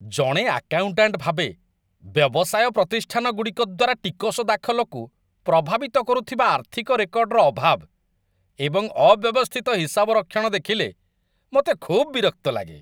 ଜଣେ ଆକାଉଣ୍ଟାଣ୍ଟ ଭାବେ, ବ୍ୟବସାୟ ପ୍ରତିଷ୍ଠାନଗୁଡ଼ିକ ଦ୍ୱାରା ଟିକସ୍ ଦାଖଲକୁ ପ୍ରଭାବିତ କରୁଥିବା ଆର୍ଥିକ ରେକର୍ଡର ଅଭାବ ଏବଂ ଅବ୍ୟବସ୍ଥିତ ହିସାବରକ୍ଷଣ ଦେଖିଲେ ମୋତେ ଖୁବ୍ ବିରକ୍ତ ଲାଗେ।